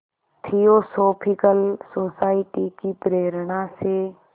theosophical society की प्रेरणा से